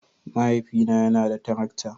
Mahaifina yana da tarakta